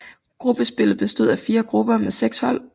Gruppespillet bestod af fire grupper med seks hold